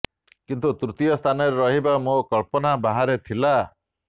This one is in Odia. କିନ୍ତୁ ତୃତୀୟ ସ୍ଥାନରେ ରହିବା ମୋ କଳ୍ପନା ବାହାରେ ଥିଲା